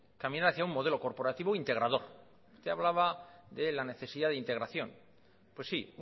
caminar hacia un modelo corporativo e integrador usted hablaba de la necesidad de integración pues sí